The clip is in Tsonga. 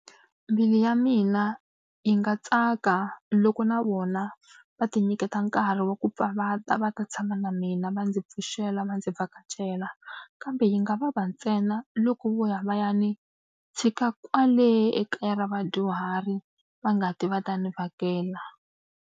Mbilu ya mina yi nga tsaka loko na vona va tinyiketa nkarhi wa ku pfa va ta va ta tshama na mina, va ndzi pfuxela, va ndzi vhakachela. Kambe yi nga vava ntsena loko vo ya va ya ni tshika kwale ekaya ra vadyuhari, va nga ti va ta ni vhakela.